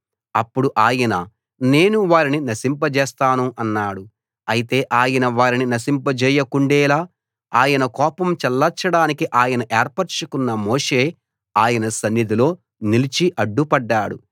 అప్పుడు ఆయన నేను వారిని నశింపజేస్తాను అన్నాడు అయితే ఆయన వారిని నశింపజేయకుండేలా ఆయన కోపం చల్లార్చడానికి ఆయన ఏర్పరచుకున్న మోషే ఆయన సన్నిధిలో నిలిచి అడ్డుపడ్డాడు